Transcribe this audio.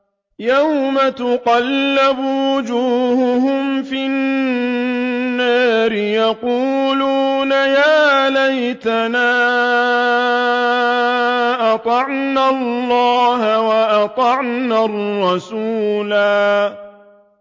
يَوْمَ تُقَلَّبُ وُجُوهُهُمْ فِي النَّارِ يَقُولُونَ يَا لَيْتَنَا أَطَعْنَا اللَّهَ وَأَطَعْنَا الرَّسُولَا